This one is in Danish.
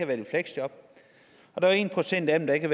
været i fleksjob og en procent af dem der ikke